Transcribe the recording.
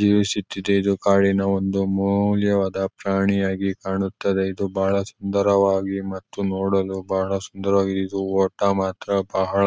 ಜೀವಿಸುತ್ತಿದೆ ಇದು ಕಾರಿನ ಒಂದು ಮೂಲ್ಯವಾದ ಪ್ರಾಣಿಯಾಗಿ ಕಾಣುತ್ತದೆ ಇದು ಬಹಳ ಸುಂದರವಾಗಿ ಮತ್ತು ನೋಡಲು ಬಹಳ ಸುಂದರವಾಗಿ ಇದು ಓಟ ಮಾತ್ರ ಬಹಳ